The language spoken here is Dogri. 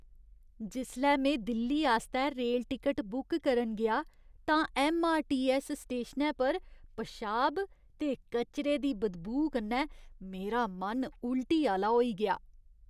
जिसलै में दिल्ली आस्तै रेल टिकट बुक करन गेआ तां ऐम्मआरटीऐस्स स्टेशनै पर पेशाब ते कचरे दी बदबू कन्नै मेरा मन उलटी आह्‌ला होई गेआ।